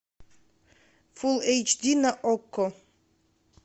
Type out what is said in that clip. фул эйч ди на окко